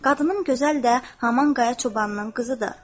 Qadınım gözəl də Haman Qaya çobanının qızıdır.